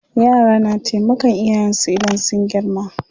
Yara na taimakan iyayen su idan sun girma.